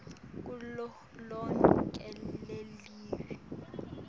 kulo lonkhe lelive